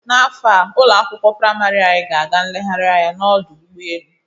N'afọ a ụlọ akwụkwọ praịmarị anyị, ga-aga nlegharị anya n'ọdụ ụgbọ elu.